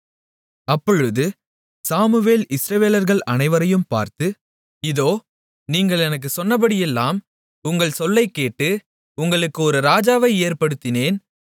அப்பொழுது சாமுவேல் இஸ்ரவேலர்கள் அனைவரையும் பார்த்து இதோ நீங்கள் எனக்குச் சொன்னபடியெல்லாம் உங்கள் சொல்லைக்கேட்டு உங்களுக்கு ஒரு ராஜாவை ஏற்படுத்தினேன்